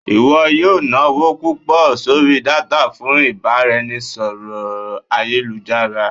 iwọ yọọ nawo pupọ sorí datá fún ibaraẹnisọrọ ayélujará.